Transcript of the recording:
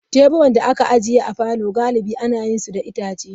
Teburan da aka ajiye a falo galibi ana yin su da itace.